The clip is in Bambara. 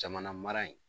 Jamana mara in